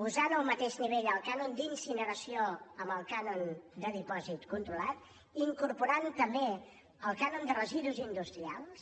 posant al mateix nivell el cànon d’incineració amb el cànon de dipòsit controlat incorporant també el cànon de residus industrials